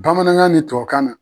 Bamanankan ni tubabukan na